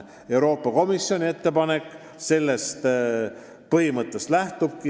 Euroopa Komisjoni ettepanek sellest põhimõttest lähtubki.